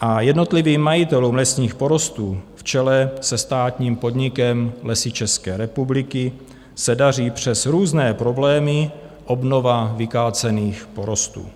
a jednotlivým majitelům lesních porostů v čele se státním podnikem Lesy České republiky se daří přes různé problémy obnova vykácených porostů.